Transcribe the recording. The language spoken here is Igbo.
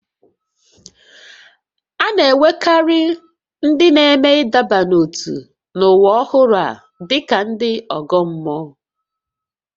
A na-ewerekarị ndị na-eme ịdọba n'ótú n'ụwa ọhụrụ a dị ka ndị ọgọ mmụọ